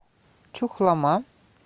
чухлома